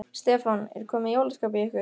Stefán: Er komið jólaskap í ykkur?